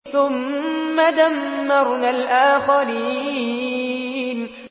ثُمَّ دَمَّرْنَا الْآخَرِينَ